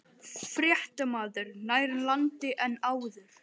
Fréttamaður: Nær landi en áður?